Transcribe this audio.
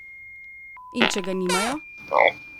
In če ga nimajo?